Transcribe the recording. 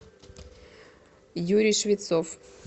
юрий швецов